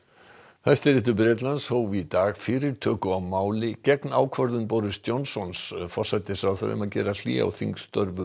Hæstiréttur Bretlands hóf í dag fyrirtöku á máli gegn ákvörðun Boris Johnsons forsætisráðherra um að gera hlé á störfum